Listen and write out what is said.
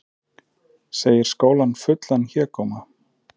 Segir skólann fullan hégóma